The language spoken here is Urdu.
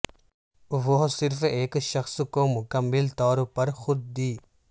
وہ صرف ایک شخص کو مکمل طور پر خود دی